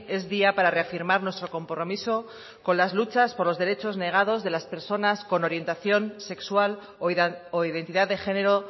es día para reafirmar nuestro compromiso con las luchas por los derechos negados de las personas con orientación sexual o identidad de género